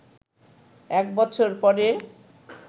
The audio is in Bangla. এক বছর পরে